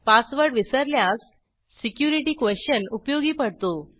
password विसरल्यास security question उपयोगी पडतो